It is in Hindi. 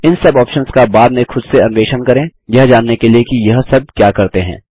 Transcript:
इन सब ऑप्शन्स का बाद में खुद से अन्वेषण करें यह जानने के लिए कि यह सब क्या करते हैं